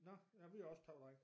Nå ja vi har også kun drenge